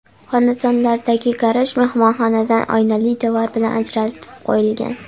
Xonadonlardagi garaj mehmonxonadan oynali devor bilan ajratib qo‘yilgan.